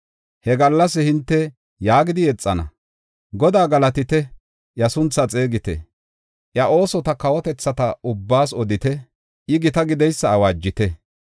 He gallas hinte yaagidi yexana: “Godaa galatite! Iya sunthaa xeegite. Iya oosota kawotethata ubbaas odite; I gita gideysa awaajite.